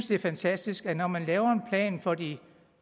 det er fantastisk at når man laver plan for de